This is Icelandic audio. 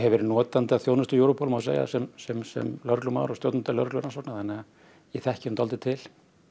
verið notandi að þjónustu Europol má segja sem sem sem lögreglumaður og stjórnandi lögreglurannsókna þannig að ég þekki nú dálítið til